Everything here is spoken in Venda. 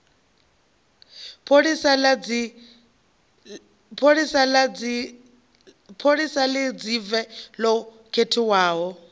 pholisa ḽa ridzeve ḽo khethwaho